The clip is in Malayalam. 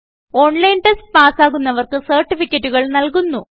ഓൺലൈൻ ടെസ്റ്റ് പാസ്സാകുന്നവർക്ക് സർട്ടിഫികറ്റുകൾ നല്കുന്നു